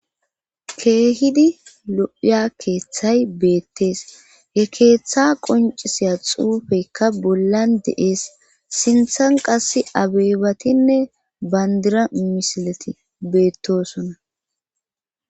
Keehidi lo'iya keeththay beettees he keeththa qoncisiya xuufeykka bollan de'ees sinthan qass abeebatinne bandira misileti beettosona.